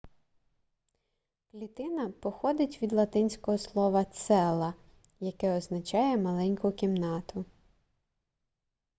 клітина походить від латинського слова cella яке означає маленьку кімнату